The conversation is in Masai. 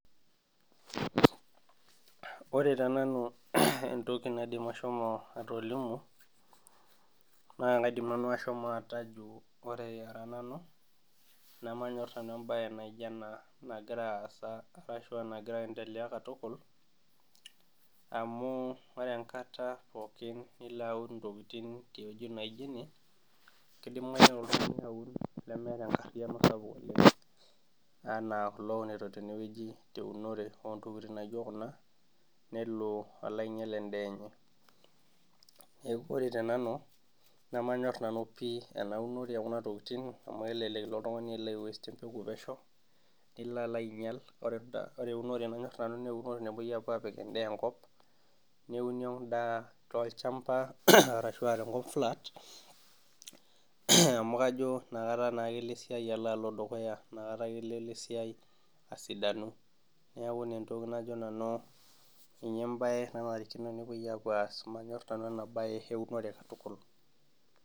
Ore tenanu entoki naidim ashomo atolimu, naa kaidim nanu ashomo atejo ore ara nanu, nemanyor nanu ebae naijo ena nagira aasa ashu enagira aendelea katukul, amu ore enkata pookin nilo aun intokiting tewoji naijo ine, kidimayu nelo oltung'ani aun nemeeta enkarriyiano sapuk oleng. Anaa kulo ounito tenewueji eunore ontokiting naijo kuna, nelo alo ainyal endaa enye. Neeku ore tenanu, nemanyor nanu pi ena unore ekuna tokiting amu elelek ilo oltung'ani alo ai waste empeku pesho, nilo alo ainyal. Ore eunore nanyor nanu neunore napoi apuo apik endaa enkop, neuni endaa tolchamba arashua tenkop flat, amu kajo nakata naake elo esiai ala alo dukuya. Nakata ake elo esiai asidanu. Neeku ina entoki najo nanu ninye ebae nanarikino nepoi apuo aas. Nemanyor nanu enabae eunore katukul.